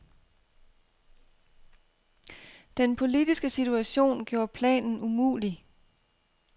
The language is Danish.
Den politiske situation gjorde planen umulig.